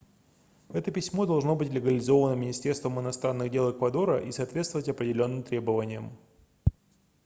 это письмо должно быть легализовано министерством иностранных дел эквадора и соответствовать определённым требованиям